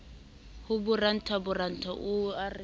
ho boranta boranta o re